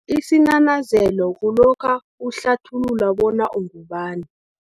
lsinanazelo, kulokha uhlathulula bona ungubani.